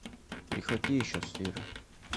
прихвати еще сыра